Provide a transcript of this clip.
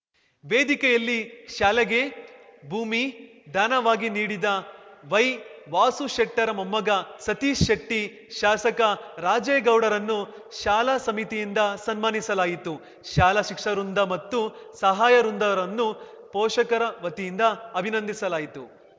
ವೇದಿಕೆಯಲ್ಲಿ ಶಾಲೆಗೆ ಭೂಮಿ ದಾನವಾಗಿ ನೀಡಿದ ವೈ ವಾಸುಶೆಟ್ಟರ ಮೊಮ್ಮಗ ಸತೀಶ್‌ ಶೆಟ್ಟಿ ಶಾಸಕ ರಾಜೇಗೌಡರನ್ನು ಶಾಲಾ ಸಮಿತಿಯಿಂದ ಸನ್ಮಾನಿಸಲಾಯಿತು ಶಾಲಾ ಶಿಕ್ಷ ವೃಂದ ಮತ್ತು ಸಹಾಯ ವೃಂದರನ್ನು ಪೋಷಕರ ವತಿಯಿಂದ ಅಭಿನಂದಿಸಲಾಯಿತು